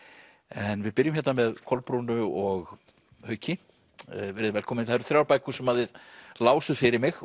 en við byrjum hérna með Kolbrúnu og Hauki verið þið velkomin það eru þrjár bækur sem þið lásuð fyrir mig